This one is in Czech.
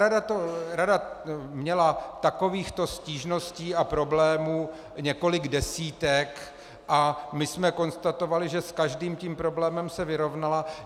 Rada měla takovýchto stížností a problémů několik desítek a my jsme konstatovali, že s každým tím problémem se vyrovnala.